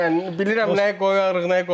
Yəni bilirəm nəyi qoyarıq, nəyi qoymarıq.